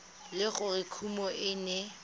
le gore kumo e ne